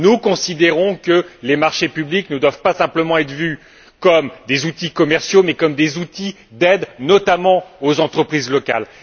Nous considérons que les marchés publics ne doivent pas simplement être vus comme des outils commerciaux mais comme des outils d'aide, notamment aux entreprises locales.